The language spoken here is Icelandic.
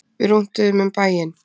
Við rúntuðum um bæinn.